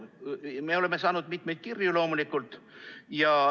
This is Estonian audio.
Me oleme saanud mitmeid kirju, loomulikult.